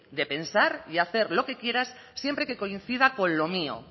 de pensar y hacer lo que quieras siempre que coincida con lo mío